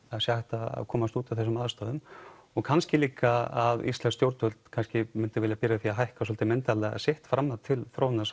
það er hægt að komast út úr þessum aðstæðum og kannski líka að íslensk stjórnvöld kannski myndu vilja byrja á því að hækka svolítið myndarlega sitt framlag til þróunar